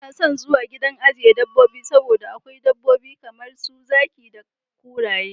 Ina son zuwa gidan ajiye dabobbi saboda akwai dabbobi kamar su zaki da kuraye.